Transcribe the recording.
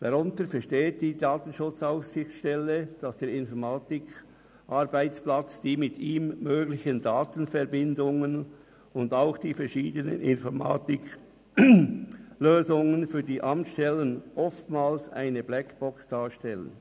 Darunter versteht die DSA, dass der Informatikarbeitsplatz, die mit ihm möglichen Datenverbindungen und auch die verschiedenen Informatiklösungen für die Amtsstellen oftmals eine Blackbox darstellen.